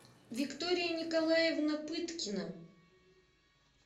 виктория николаевна пыткина